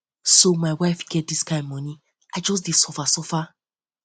so my wife get dis kind moni i just dey suffer suffer